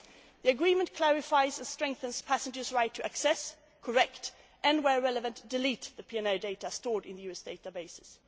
The agreement clarifies and strengthens passengers' right to access, correct and, where relevant, delete the PNR data stored in the US databases.